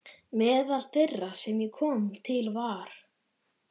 Meðal þeirra sem ég kom til var